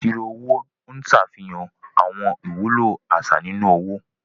Ìṣirò owó Ń ṣàfihàn àwọn ìwúlò àṣà nínú owó.